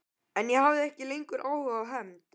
En ég hafði ekki lengur áhuga á hefnd.